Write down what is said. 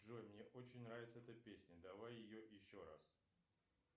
джой мне очень нравится эта песня давай ее еще раз